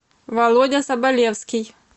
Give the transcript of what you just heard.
володя соболевский